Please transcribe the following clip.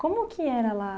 Como que era lá?